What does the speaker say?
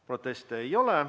Proteste ei ole.